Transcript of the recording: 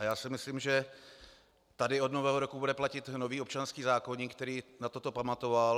A já si myslím, že tady od Nového roku bude platit nový občanský zákoník, který na toto pamatoval.